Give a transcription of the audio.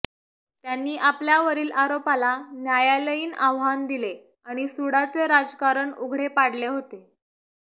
त्यांनी आपल्यावरील आरोपाला न्यायालयीन आव्हान दिले आणि सुडाचे राजकारण उघडे पाडले होते